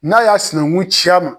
N'a y'a sinankun ci ma